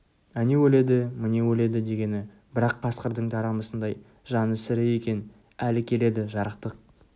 әне өледі міне өледі дегені бірақ қасқырдың тарамысындай жаны сірі екен әлі келеді жарықтық